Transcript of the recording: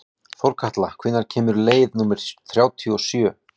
Þórkatla, hvenær kemur leið númer þrjátíu og sjö?